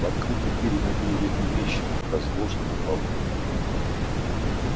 в открытую дверь ему были видны вещи разложенные на полу